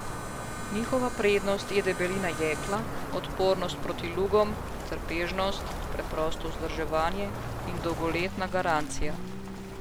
Njihova prednost je debelina jekla, odpornost proti lugom, trpežnost, preprosto vzdrževanje in dolgoletna garancija.